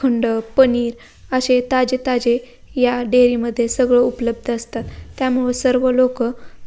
खंड पनीर असे ताजे ताजे या डेरीमध्ये सगळ उपलब्ध असतात त्यामुळे सर्व लोक --